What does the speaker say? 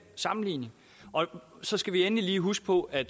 sammenligning så skal vi endelig lige huske på at